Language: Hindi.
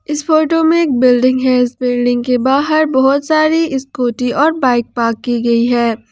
इस फोटो में बिल्डिंग है उस बिल्डिंग के बाहर बहुत सारी स्कूटी और बाइक पार्क की गई है।